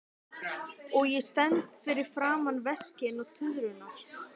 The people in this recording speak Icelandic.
Og ég stend fyrir framan veskin og tuðrurnar.